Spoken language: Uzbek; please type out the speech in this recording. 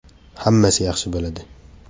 Hammasi yaxshi bo‘ladi!